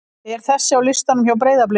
er þessi á listanum hjá Breiðablik?